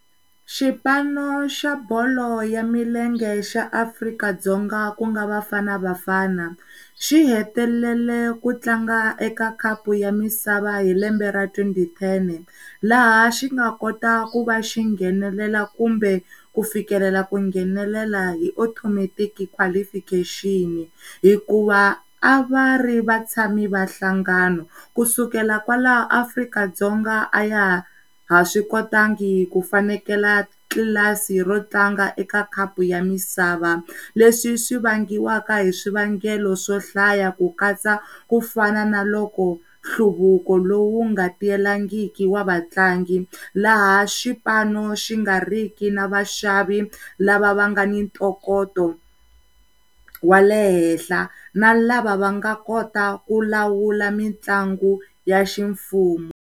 Xipano xa bolo ya milenge xa Afrika-Dzonga ku nga BafanaBafana xihele ku tlanga eka khapu ya misava hilembe ra twenty ten laha xi nga kota ku va xi nghenelela kumbe ku fikelela ku nghenelela hi automatic qualification hikuva a va ri va tshami va hlangano. Kusukela kwalaho Afrika-Dzonga a ya ha swi kotangi kufanekela tlilasini ro tlanga eka khapu ya misava leswi swivangiwa hi swivangelo swo hlaya ku katsa kufana na loko nhluvuko lowu nga tiyelangiki wa vatlangi laha xipano xi ga ri ki na vaxavi lava vangani tokoto wa leha na lava va nga kota ku lawula mitlangu ya xi ximfumo